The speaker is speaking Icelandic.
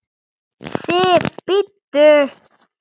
SIF, BÍDDU!